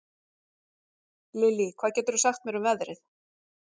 Lilly, hvað geturðu sagt mér um veðrið?